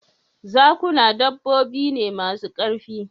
Zakuna dabbobi ne masu ƙarfi